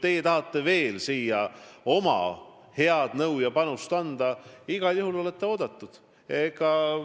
Kui teie tahate oma head nõu ja panust anda, siis olete igal juhul oodatud.